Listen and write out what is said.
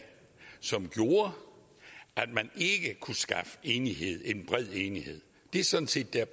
som gjorde at man ikke kunne skaffe enighed en bred enighed det er sådan set